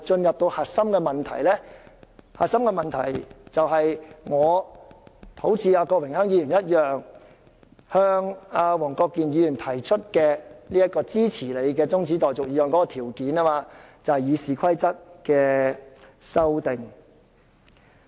現時的核心問題，就是我和郭榮鏗議員向黃國健議員提出支持其中止待續議案的條件，即建制派撤回對《議事規則》的修訂。